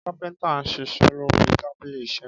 Kápéntà n sísé lori tábílì Isé